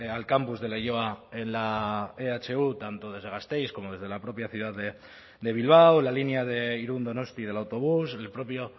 al campus de leioa en la ehu tanto desde gasteiz como desde la propia ciudad de bilbao la línea de irún donostia del autobús el propio